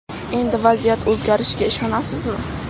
Endi vaziyat o‘zgarishiga ishonasizmi?